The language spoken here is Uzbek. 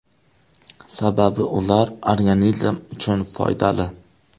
Sababi ular organizm uchun foydali.